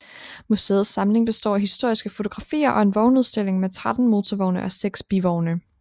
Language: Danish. Museets samling består af historiske fotografier og en vognudstilling med 13 motorvogne og 6 bivogne